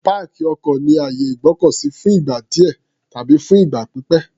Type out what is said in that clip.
Páàkì ọkọ̀ ni àyè ìgbọ́kọ̀ sí fún ìgbà díẹ̀ tàbí fún ìgbà pípẹ̀.